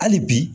Hali bi